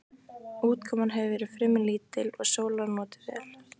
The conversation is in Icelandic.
Úrkoman hefur verið fremur lítil og sólar notið vel.